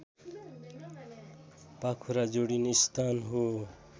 पाखुरा जोडिने स्थान हो